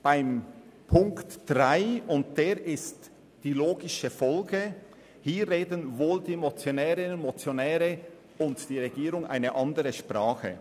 Beim Punkt 3 – und der ist die logische Folge – reden wohl die Motionärinnen und Motionäre und die Regierung eine andere Sprache.